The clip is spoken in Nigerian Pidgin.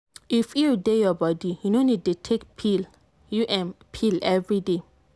if iud dey your body you no need dey take u m pill every day